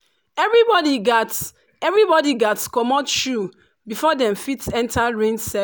everybody gats everybody gats comot shoe before dem fit enter rain cir